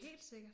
Helt sikkert